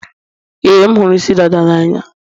ee, m hụrụ isi dada n'anya.